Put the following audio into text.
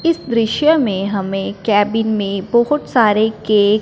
इस दृश्य में हमें केबिन में बहोत सारे के--